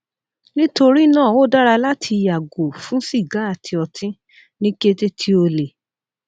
nitorina o dara lati yago fun siga ati oti ni kete ti o le